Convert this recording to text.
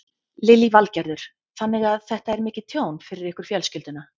Lillý Valgerður: Þannig að þetta er mikið tjón fyrir ykkur fjölskylduna?